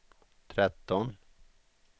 tretton